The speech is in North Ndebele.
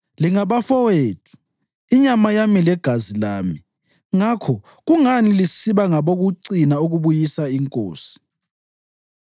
Lingabafowethu, inyama yami legazi lami. Ngakho kungani lisiba ngabokucina ukubuyisa inkosi?’